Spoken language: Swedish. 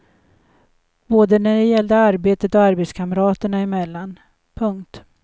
Både när det gällde arbetet och arbetskamraterna emellan. punkt